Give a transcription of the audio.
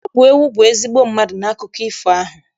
Ọ bụ ewu bụ ezigbo mmadụ n'akụkọ ifo ahụ.